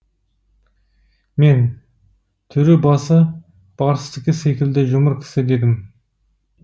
мен түрі басы барыстікі секілді жұмыр кісі дедім